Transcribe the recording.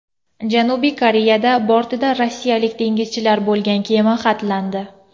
Janubiy Koreyada bortida rossiyalik dengizchilar bo‘lgan kema xatlandi.